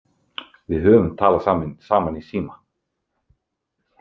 Við höfum talað saman í síma.